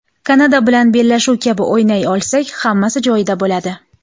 Kanada bilan bellashuv kabi o‘ynay olsak, hammasi joyida bo‘ladi.